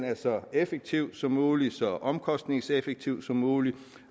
er så effektiv som mulig så omkostningseffektiv som mulig